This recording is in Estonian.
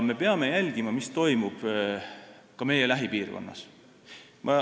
Me peame jälgima ka seda, mis toimub meie lähipiirkonnas.